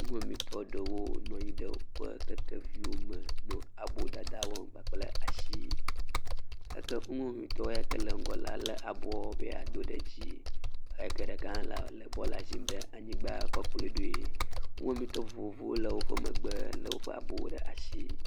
Nuwɔametɔ ɖewo nɔ anyi ɖe woƒe kekeviwo me nɔ abo dada wɔm kpakple asi, eke nuwɔametɔ yake le ŋgɔ la le aboɔ be ya do ɖe dzi, eyike ɖeka ha le le bɔla zim ɖe anyigba koe kplɔe ɖoe. Nuwɔamẽtɔ vovovowo le wòƒe megbe lé woƒe abowo ɖe asi.